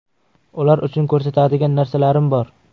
Ular uchun ko‘rsatadigan narsalarim bor.